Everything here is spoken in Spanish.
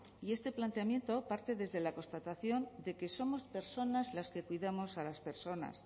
y este planteamiento parte desde la constatación de que somos personas las que cuidamos a las personas